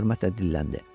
Oğlan hörmətlə dilləndi.